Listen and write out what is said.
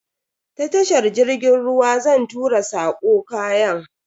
Ta tashar jirgin ruwa zan tura sako kayan.